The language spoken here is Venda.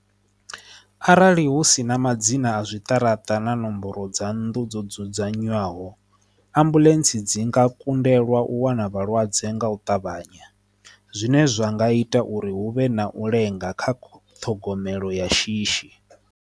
Arali hu si na madzina a zwiṱaraṱa na nomboro dza nnḓu dzo dzudzanywaho ambuḽentse dzi nga kundelwa u wana vhalwadze nga u ṱavhanya zwine zwa nga ita uri hu vhe na u lenga kha khophi ṱhogomelo ya shishi.